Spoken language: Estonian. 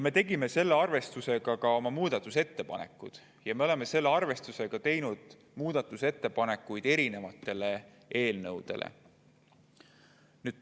Me tegime selle arvestusega ka oma muudatusettepanekud ja me oleme selle arvestusega teinud muudatusettepanekuid erinevate eelnõude kohta.